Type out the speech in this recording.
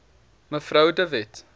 mev de wet